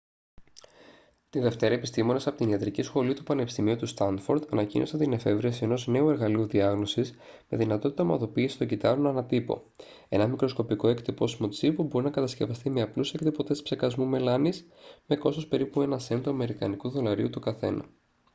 τη δευτέρα επιστήμονες από την ιατρική σχολή του πανεπιστημίου του στάνφορντ ανακοίνωσαν την εφεύρεση ενός νέου εργαλείου διάγνωσης με δυνατότητα ομαδοποίησης των κυττάρων ανά τύπο ένα μικροσκοπικό εκτυπώσιμο τσιπ που μπορεί να κατασκευαστεί με απλούς εκτυπωτές ψεκασμού μελάνης με κόστος περίπου ένα σεντ του αμερικανικού δολαρίου το καθένα